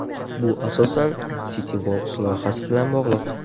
Bu asosan CityWorks loyihasi bilan bog‘liq.